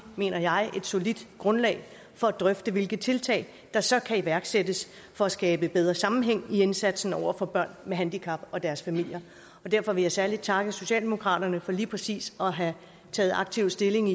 mener jeg et solidt grundlag for at drøfte hvilke tiltag der så kan iværksættes for at skabe bedre sammenhæng i indsatsen for børn med handicap og deres familier derfor vil jeg særlig takke socialdemokraterne for lige præcis at have taget aktiv stilling